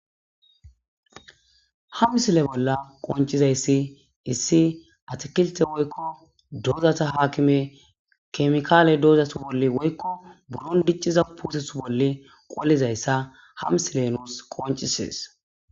hawisile bolla qoncizayssi issi atikilte woykko dozata haakime kemikaale doozasu bolle woykko buron dicciza putesu bolle qolizayssa hamsilenos qoncisees